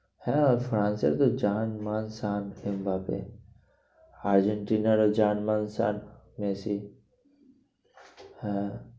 হ্যাঁ ফ্রান্সের তো জান মান সান এমবাপে আর্জেন্টিরারও জান মান সান মেসি হ্যাঁ